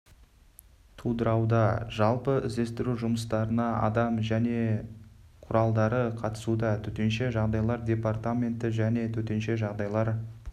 тудырауда жалпы іздестіру жұмыстарына адам және жүзу құралдары қатысуда төтенше жағдайлар депаратменті және төтенше жағдайлар